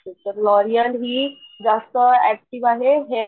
तर लॉरीअल हि जास्त ऍक्टिव्ह आहे हेअर